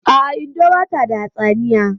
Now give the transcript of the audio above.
A'a, Indo bata da hatsaniya